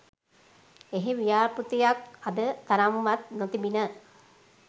එහි ව්‍යාප්තියක් අද තරම්වත් නොතිබිණ